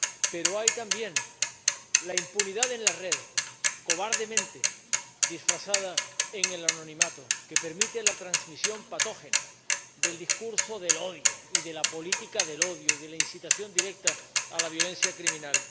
Pero está también la impunidad en la red, cobardemente disfrazada en el anonimato, que permite la transmisión patógena del discurso del odio y de la política del odio y de la incitación directa a la violencia criminal.